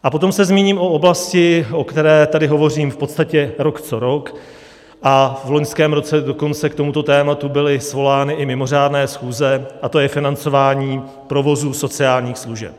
A potom se zmíním o oblasti, o které tady hovořím v podstatě rok co rok, a v loňském roce dokonce k tomuto tématu byly svolány i mimořádné schůze, a to je financování provozů sociálních služeb.